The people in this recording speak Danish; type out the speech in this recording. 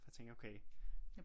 For jeg tænkte okay